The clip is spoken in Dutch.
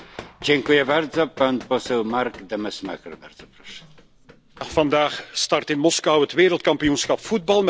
Vandaag start in Moskou het Wereldkampioenschap voetbal met de openingswedstrijd tussen het Russische en het Saoedische elftal.